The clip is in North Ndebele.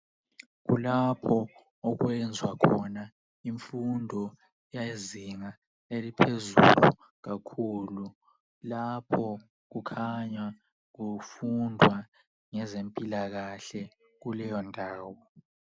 Kulapho okwenzwa khona imfundo yezinga eliphezulu kakhulu. Lapho kukhanya kufundwa ngezempilakahle kuleyondawo.